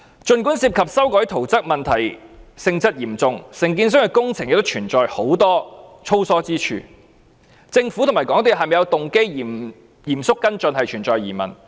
儘管涉及修改圖則問題性質嚴重，承建商的工程亦存在很多粗疏之處，政府和港鐵公司是否有動機嚴肅跟進，仍然存在疑問。